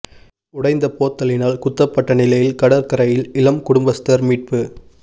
உடைந்த போத்தலினால் குத்தப்பட்ட நிலையில் கடற்கரையில் இளம் குடும்பஸ்தர் மீட்பு